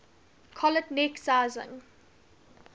collet neck sizing